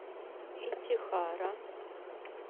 итихара